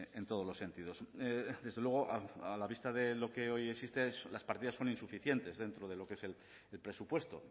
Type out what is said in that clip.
en todos los sentidos desde luego a la vista de lo que hoy existe las partidas son insuficientes dentro de lo que es el presupuesto